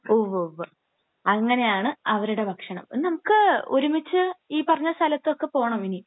ഉവ്വുവ്വ്. അങ്ങനെയാണ് അവരുടെ ഭക്ഷണം. നമുക്ക് ഒരുമിച്ച് ഈ പറഞ്ഞ സ്ഥലത്തൊക്കെ പോകണം ഇനി.